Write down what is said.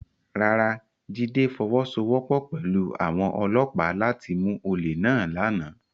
Rárá, Jide fọwọsowọpọ pẹlu awọn ọlọpa lati mu ole náà làná